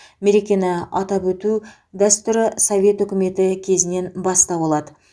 мерекені атап өту дәстүрі совет үкіметі кезінен бастау алады